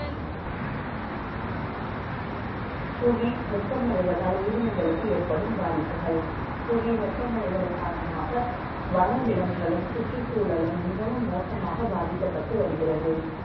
புவி வெ ப்பமடை வதால், உயிரினங்களுக்கு ஏற்படும் பாதிப்புகள். புவி, வெ ப்பமடை தல் காரணமாக, வனவிலங்குகளும், சுற்றுச்சூழலும் மிகவும் ம ோசமாக பாதிக்கப்பட்டு வருகிறது